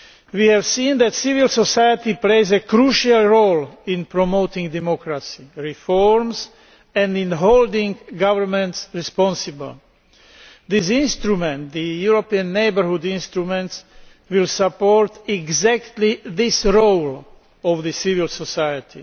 We have seen that civil society plays a crucial role in promoting democracy, reforms and in holding governments responsible. This instrument, the European Neighbourhood Instrument, will support precisely this role of civil society.